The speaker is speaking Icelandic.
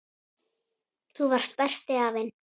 Þú varst besti afinn.